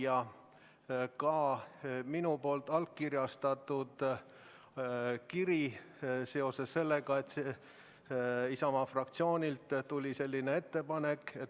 Ja on ka minu allkirjaga kiri seoses sellega, et Isamaa fraktsioonilt tuli selline ettepanek.